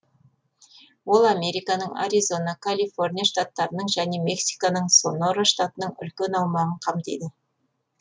ол американың аризона калифорния штаттарының және мексиканың сонора штатының үлкен аумағын қамтиды